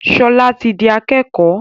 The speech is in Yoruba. Shola tí dì akékò.